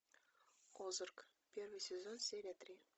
озарк первый сезон серия три